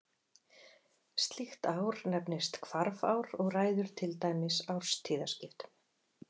Slíkt ár nefnist hvarfár og ræður til dæmis árstíðaskiptum.